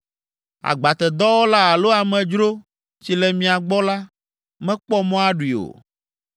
Agbatedɔwɔla alo amedzro si le mia gbɔ la, mekpɔ mɔ aɖui o.